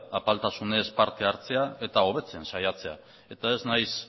apaltasunez parte hartzea eta hobetzen saiatzea eta ez naiz